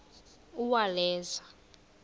uwaleza